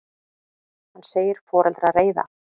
Hann segir foreldra reiða.